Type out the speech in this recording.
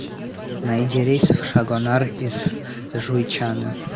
найди рейс в шагонар из жуйчана